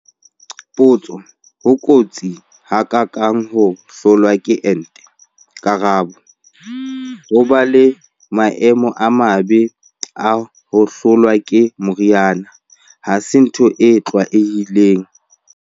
Potso- Ho kotsi ha ka kang ho hlolwa ke ente? Karabo- Ho ba le maemo a mabe a ho hlolwa ke mori ana ha se ntho e tlwaelehileng.